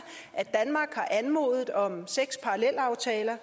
at danmark har anmodet om seks parallelaftaler